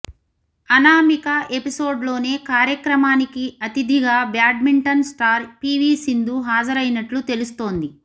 అనామిక ఎపిసోడ్లోనే కార్యక్రమానికి అతిథిగా బ్యాడ్మింటన్ స్టార్ పీవీ సింధు హాజరైనట్లు తెలుస్తోంది